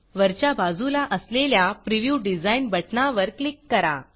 वरच्या बाजूला असलेल्या प्रिव्ह्यू Designप्रीव्यू डिज़ाइन बटणावर क्लिक करा